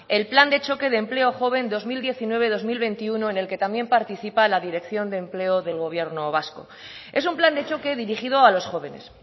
el plan de choque de empleo joven dos mil diecinueve dos mil veintiuno en el que también participa la dirección de empleo del gobierno vasco es un plan de choque dirigido a los jóvenes